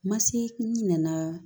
Ma se ɲinɛ